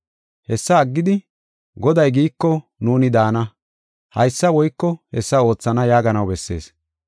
Hessa aggidi, “Goday giiko nuuni daana; haysa woyko hessa oothana” yaaganaw bessees.